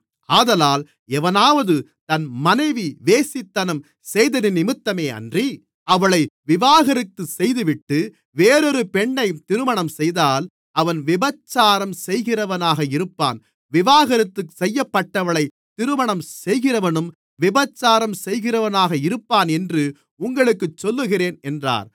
ஆதலால் எவனாவது தன் மனைவி வேசித்தனம் செய்ததினிமித்தமேயன்றி அவளை விவாகரத்து செய்துவிட்டு வேறொரு பெண்ணைத் திருமணம்செய்தால் அவன் விபசாரம் செய்கிறவனாக இருப்பான் விவாகரத்து செய்யப்பட்டவளைத் திருமணம் செய்கிறவனும் விபசாரம் செய்கிறவனாக இருப்பான் என்று உங்களுக்குச் சொல்லுகிறேன் என்றார்